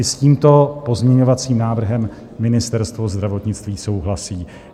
I s tímto pozměňovacím návrhem Ministerstvo zdravotnictví souhlasí.